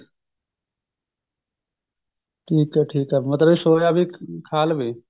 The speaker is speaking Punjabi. ਠੀਕ ਐ ਠੀਕ ਐ ਮਤਲਬ soya ਪਨੀਰ ਖਾ ਲਵੇ